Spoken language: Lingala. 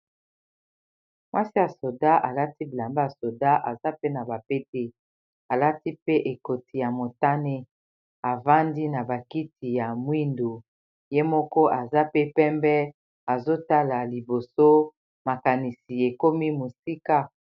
mwasi ya soda alati bilamba ya soda aza pe na bapete alati pe ekoti ya motane afandi na bakiti ya mwindu ye moko aza pe pembe azotala liboso makanisi ekomi mosika